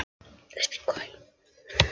Ég sá ljósið. Lilla var þrjósk.